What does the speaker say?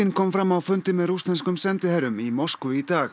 kom fram á fundi með rússneskum sendiherrum í Moskvu í dag